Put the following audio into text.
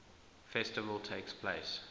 festival takes place